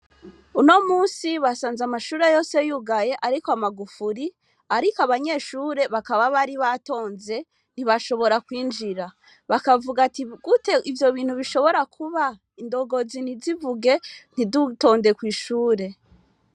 Uno munsi basanze amashure yose yugaye ariko amagufuri ariko abanyeshure bakaba bari batonze ntibashobora kwinjira, bakavuga ati gute ivyo bintu bishobora kuba indongozi ntizivuge ntidutonde kwishure.